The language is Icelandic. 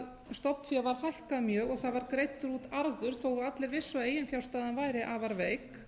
stofnfé var hækkað mjög og það var greiddur út arður þó allir vissu að eiginfjárstaðan væri afar veik